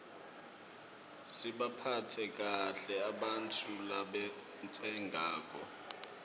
sibaphatse kahle ebantfu labatsengako